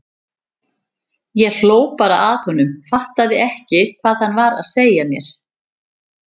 Ég hló bara að honum, fattaði ekki hvað hann var að segja mér.